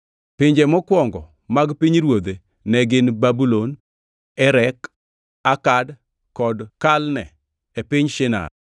Pinje mokwongo mag pinyruodhe ne gin Babulon, Erek, Akad kod Kalne e piny Shinar.